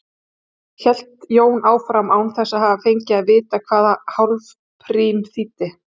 hélt Jón áfram, án þess að hafa fengið að vita hvað hálfrím þýddi.